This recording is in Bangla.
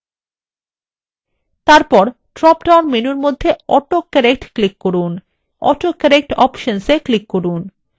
তারপর drop down menu মধ্যে অটো কারেক্ট click করুন autocorrect options এ click করুন